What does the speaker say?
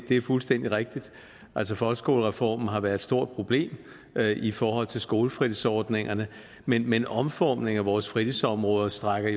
det er fuldstændig rigtigt altså folkeskolereformen har været et stort problem i forhold til skolefritidsordningerne men men omformningen af vores fritidsområde strækker